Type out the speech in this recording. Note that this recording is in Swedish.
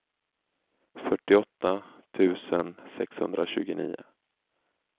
fyrtioåtta tusen sexhundratjugonio